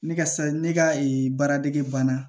Ne ka sa ne ka ee baaradege banna